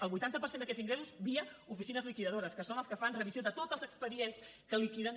el vuitanta per cent d’aquests ingressos via oficines liquidadores que són les que fan revisió de tots els expedients que liquiden